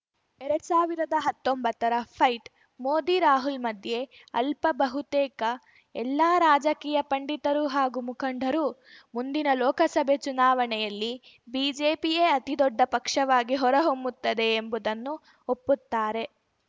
ಎರಡ್ ಸಾವಿರ್ದಾ ಹತ್ತೊಂಬತ್ತರ ಫೈಟ್‌ ಮೋದಿರಾಹುಲ್‌ ಮಧ್ಯೆ ಅಲ್ಲ ಬಹುತೇಕ ಎಲ್ಲಾ ರಾಜಕೀಯ ಪಂಡಿತರು ಹಾಗೂ ಮುಖಂಡರು ಮುಂದಿನ ಲೋಕಸಭೆ ಚುನಾವಣೆಯಲ್ಲಿ ಬಿಜೆಪಿಯೇ ಅತಿದೊಡ್ಡ ಪಕ್ಷವಾಗಿ ಹೊರಹೊಮ್ಮುತ್ತದೆ ಎಂಬುದನ್ನು ಒಪ್ಪುತ್ತಾರೆ